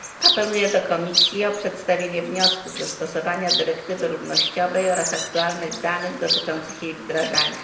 Apeluję do Komisji o przedstawienie wniosków w sprawie dostosowania dyrektywy równościowej oraz aktualnych danych dotyczących jej wdrażania.